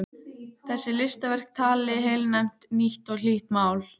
Þessi listaverk tali heilnæmt, nýtt og hlýtt mál.